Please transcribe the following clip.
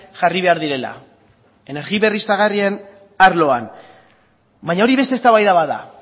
jarri behar direla energia berriztagarrien arloan baina hori beste eztabaida bat da